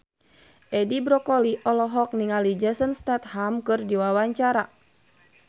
Edi Brokoli olohok ningali Jason Statham keur diwawancara